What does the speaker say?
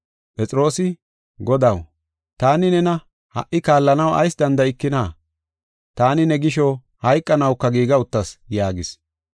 Phexroosi, “Godaw, taani nena ha77i kaallanaw ayis danda7ikina? Taani ne gisho, hayqanawuka giiga uttas” yaagis.